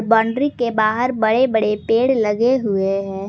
Boundary के बाहर बड़े बड़े पेड़ लगे हुए हैं।